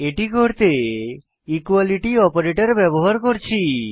এটি করতে equality operator ব্যবহার করছি